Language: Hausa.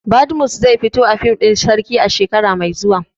Badmus zai zai fito a fim ɗin Sarki shekara mai zuwa